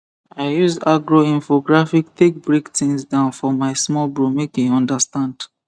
i use agro infographic take break things down for my small bro make e understand